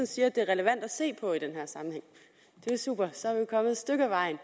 siger at det er relevant at se på i den her sammenhæng det er super så er vi kommet et stykke af vejen